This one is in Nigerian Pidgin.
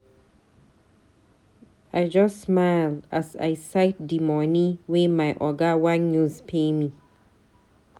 I just smile as I sight dey moni wey my oga wan use pay me.